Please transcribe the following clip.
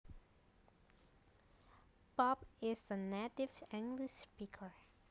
Bob is a native English speaker